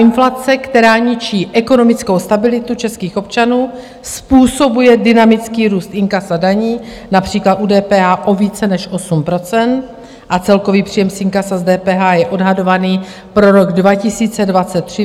Inflace, která ničí ekonomickou stabilitu českých občanů, způsobuje dynamický růst inkasa daní například u DPH o více než 8 % a celkový příjem z inkasa z DPH je odhadovaný pro rok 2023 ve výši přes 380 miliard korun.